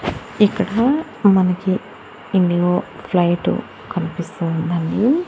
ఇక్కడా మనకి IndiGo flight కన్పిస్తూ ఉందండి.